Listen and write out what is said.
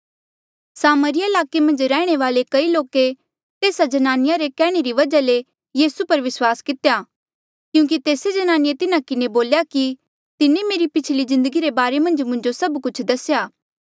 सामरिया ईलाके मन्झ रैहणे वाले कई लोके तेस्सा ज्नानिया रे कैहणे री वजहा ले यीसू पर विस्वास कितेया क्यूंकि तेस्से जन्नानिए तिन्हा किन्हें बोल्या कि तिन्हें मेरी पिछली जिन्दगी रे बारे मन्झ मुंजो सभ कुछ दसेया